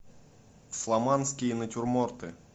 фламандские натюрморты